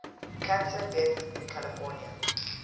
cancer deaths in california